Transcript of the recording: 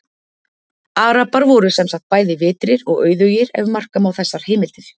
Arabar voru sem sagt bæði vitrir og auðugir, ef marka má þessar heimildir.